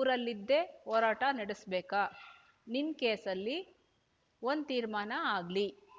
ಊರಲ್ಲಿದ್ದೇ ಹೋರಾಟ ನಡುಸ್ಬೇಕಾ ನಿನ್ ಕೇಸಲ್ಲಿ ಒಂದ್ ತೀರ್ಮಾನ ಆಗ್ಲಿ